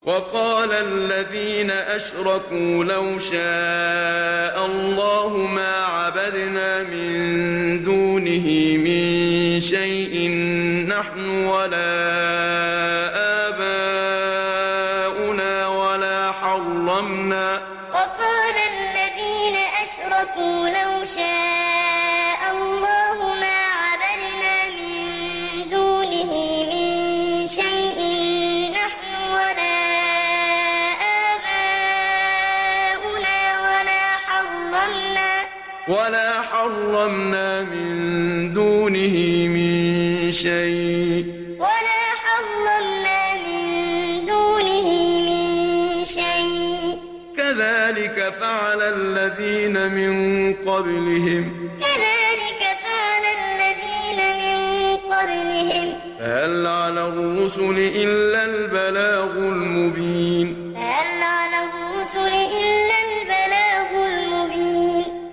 وَقَالَ الَّذِينَ أَشْرَكُوا لَوْ شَاءَ اللَّهُ مَا عَبَدْنَا مِن دُونِهِ مِن شَيْءٍ نَّحْنُ وَلَا آبَاؤُنَا وَلَا حَرَّمْنَا مِن دُونِهِ مِن شَيْءٍ ۚ كَذَٰلِكَ فَعَلَ الَّذِينَ مِن قَبْلِهِمْ ۚ فَهَلْ عَلَى الرُّسُلِ إِلَّا الْبَلَاغُ الْمُبِينُ وَقَالَ الَّذِينَ أَشْرَكُوا لَوْ شَاءَ اللَّهُ مَا عَبَدْنَا مِن دُونِهِ مِن شَيْءٍ نَّحْنُ وَلَا آبَاؤُنَا وَلَا حَرَّمْنَا مِن دُونِهِ مِن شَيْءٍ ۚ كَذَٰلِكَ فَعَلَ الَّذِينَ مِن قَبْلِهِمْ ۚ فَهَلْ عَلَى الرُّسُلِ إِلَّا الْبَلَاغُ الْمُبِينُ